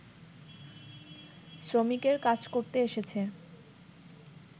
শ্রমিকের কাজ করতে এসেছে